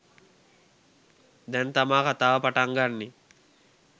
දැන් තමා කතාව පටන් ගන්නෙ.